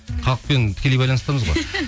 халықпен тікелей байланыстамыз ғой